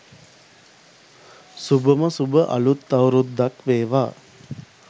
සුභම සුභ අළුත් අවුරුද්දක් වේවා.